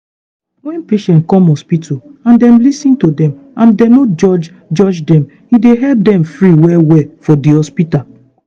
wen patient come hospital and dem lis ten to dem and dem no judge judge dem e dey help dem free well well for di hospital.